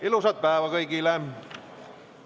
Ilusat päeva kõigile!